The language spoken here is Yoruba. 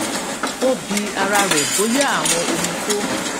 ó bi ara rẹ bóyá àwọn ohun tó